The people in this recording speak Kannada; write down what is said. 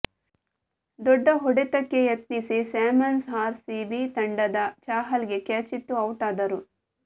ದೊಡ್ಡ ಹೊಡೆತಕ್ಕೆ ಯತ್ನಿಸಿ ಸ್ಯಾಮ್ಸನ್ ಆರ್ ಸಿಬಿ ತಂಡದ ಚಾಹಲ್ ಗೆ ಕ್ಯಾಚಿತ್ತು ಔಟ್ ಆದರು